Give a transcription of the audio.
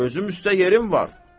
Gözüm üstə yerin var.